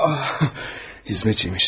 Ya hizmetçi miş.